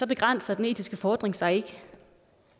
begrænser den etiske fordring sig ikke